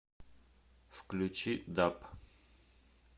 включи даб